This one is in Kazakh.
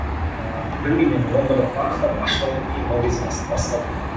ыыы білмеймін енді оны бір анықтап ашып айту қиын ол кезде